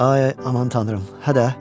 Ay, aman tanrım, hə də.